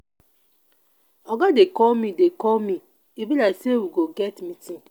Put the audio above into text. oga dey call me dey call me e be like say we go get meeting